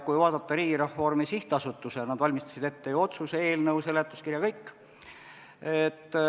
Kui vaadata Riigireformi SA-d, siis nad valmistasid ette ju otsuse eelnõu, seletuskirja, kõik.